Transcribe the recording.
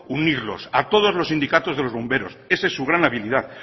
unirlos a todos los sindicatos de los bomberos esa es su gran habilidad